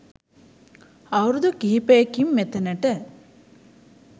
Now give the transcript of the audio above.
අවුරුදු කිහිපයකින් මෙතනට